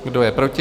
Kdo je proti?